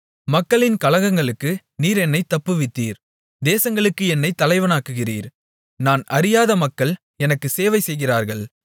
மக்களின் கலகங்களுக்கு நீர் என்னைத் தப்புவித்தீர் தேசங்களுக்கு என்னைத் தலைவனாக்குகிறீர் நான் அறியாத மக்கள் எனக்கு சேவைசெய்கிறார்கள்